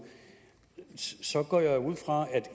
så går jeg ud fra at